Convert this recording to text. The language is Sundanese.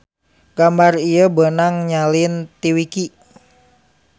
Gambar ieu beunang nyalin ti wiki